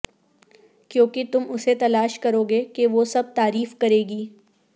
کیونکہ تم اسے تلاش کرو گے کہ وہ سب تعریف کرے گی